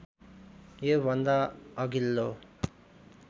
यो भन्दा अघिल्लो